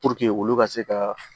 olu ka se ka